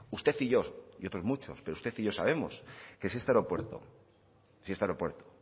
usted y yo y otros muchos pero usted y yo sabemos que si este aeropuerto si este aeropuerto